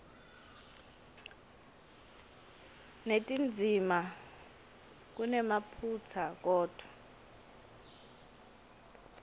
netindzima kunemaphutsa kodvwa